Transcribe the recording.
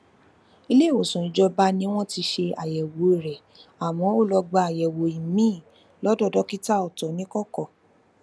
ilé ìwòsàn ìjọba ni wón ti ṣe àyèwò rè àmó ó lọ gba àyèwò imii lódò dókítà ọtọ nikọkọ